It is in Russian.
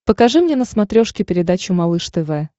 покажи мне на смотрешке передачу малыш тв